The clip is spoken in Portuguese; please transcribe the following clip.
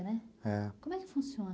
É. Como é que funciona?